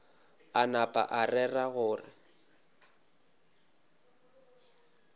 a napa a rera gore